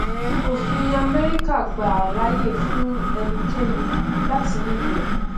òfin amẹrika gbàá láàyè fún ẹnikẹni láti ní ìbọn